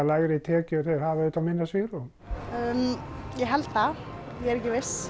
lægri tekjur þeir hafa auðvitað minna svigrúm ég held það er ekki viss